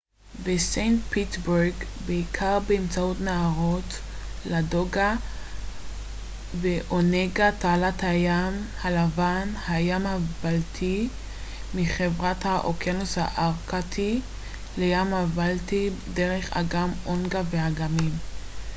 תעלת הים הלבן–הים הבלטי מחברת את האוקיינוס הארקטי לים הבלטי דרך אגם אונגה onega אגם לדוגה ladoga וסנט פטרסבורג בעיקר באמצעות נהרות ואגמים